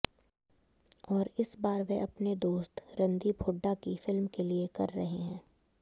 और इस बार वे अपने दोस्त रणदीप हुडा की फिल्म के लिए कर रहे हैं